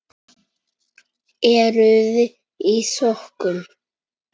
Eruði í sokkum?